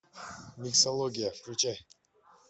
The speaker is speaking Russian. миксология включай